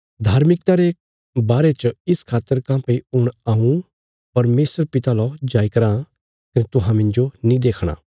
धार्मिकता रे बारे च इस खातर काँह्भई हुण हऊँ परमेशर पिता लौ जाईराँ कने तुहां मिन्जो नीं देखणा